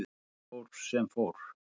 Þar fór sem fór.